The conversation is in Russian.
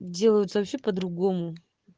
делаются вообще по-другому